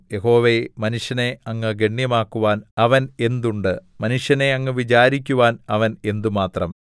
യഹോവേ മനുഷ്യനെ അങ്ങ് ഗണ്യമാക്കുവാൻ അവൻ എന്തുണ്ട് മനുഷ്യനെ അങ്ങ് വിചാരിക്കുവാൻ അവൻ എന്തുമാത്രം